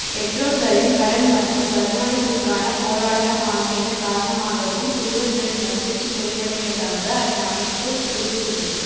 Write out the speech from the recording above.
பெற்றோர்களின் கடன் மற்றும் வருமானத்திற்கான போராட்டம் ஆகியன காரணமாகவும் சிறுவர்களின் மகிழ்ச்சி குறைவடைவதாக அந்த அமைப்பு தெரிவித்துள்ளது